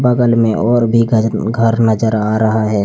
बगल मे और भी घज घर नजर आ रहा है।